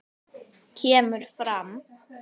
kemur fram